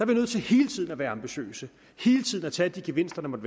vi nødt til hele tiden at være ambitiøse hele tiden at tage de gevinster der måtte